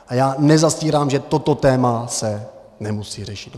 A já nezastírám, že toto téma se musí řešit.